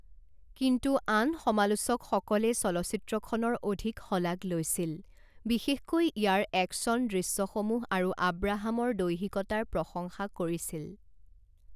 কিন্তু আন সমালোচকসকলে চলচ্চিত্ৰখনৰ অধিক শলাগ লৈছিল, বিশেষকৈ ইয়াৰ একশ্যন দৃশ্যসমূহ আৰু আব্ৰাহামৰ দৈহিকতাৰ প্ৰশংসা কৰিছিল।